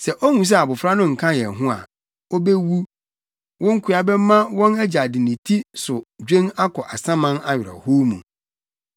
sɛ ohu sɛ abofra no nka yɛn ho a, obewu. Wo nkoa bɛma wɔn agya de ne ti so dwen akɔ asaman awerɛhow mu.